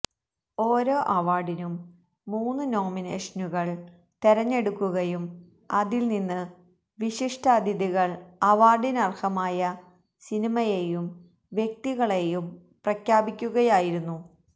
ഓരോ അവാര്ഡിനും മൂന്ന് നോമിനേഷനുകള് തെരഞ്ഞെടുക്കുകയും അതില് നിന്ന് വിശിഷ്ടതിഥികള് അവാര്ഡിനര്ഹമായ സിനിമയേയും വ്യക്തികളേയും പ്രഖ്യാപിക്കുകയായിരുന്നു